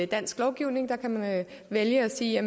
dansk lovgivning der kan man vælge at sige